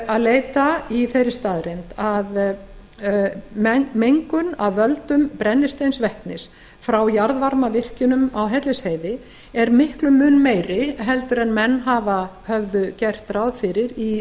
að leita í þeirri staðreynd að mengun af völdum brennisteinsvetnis frá jarðvarmavirkjunum á hellisheiði er miklum mun meiri heldur en menn höfðu gert ráð fyrir í